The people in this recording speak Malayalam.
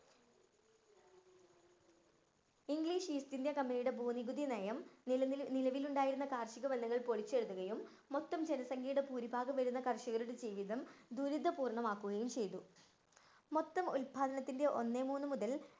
ഇംഗ്ലീഷ് ഈസ്റ്റ് ഇന്ത്യ കമ്പനിയുടെ ഭൂനികുതി നയം നിലനില്‍ ~ നിലവിലുണ്ടായിരുന്ന കാര്‍ഷിക ബന്ധങ്ങള്‍ പൊളിച്ചെഴുതുകയും മൊത്തം ജനസംഖ്യയുടെ ഭൂരിഭാഗം വരുന്ന കര്‍ഷകരുടെ ജീവിതം ദുരിത പൂര്‍ണ്ണമാക്കുകയും ചെയ്തു. മൊത്തം ഉല്‍പാദനത്തിന്‍റെ ഒന്നേ മൂന്നു മുതല്‍